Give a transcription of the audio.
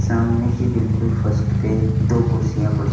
सामने की बिल्कुल फर्स्ट पे दो कुर्सियां पड़ी --